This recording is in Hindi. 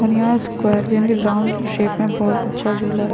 और यहाँ स्क्वेर यानि राउंड शेप में बोहत अच्छा झूला है।